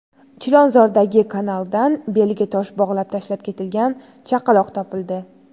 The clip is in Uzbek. Chilonzordagi kanaldan beliga tosh bog‘lab tashlab ketilgan chaqaloq topildi.